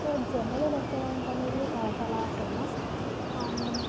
So generally restaurants అనేవి చాలా famous . And --